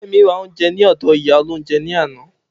Femi ra oúnjẹ ní ọdọ̀ ìyá olóhúnjẹ ní àná.